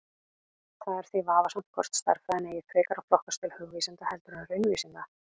Það er því vafasamt hvort stærðfræðin eigi frekar að flokkast til hugvísinda heldur en raunvísinda.